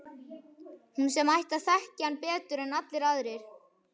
Hún sem ætti að þekkja hann betur en allir aðrir.